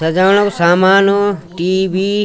सजाणा कु सामाण टी.वी. ।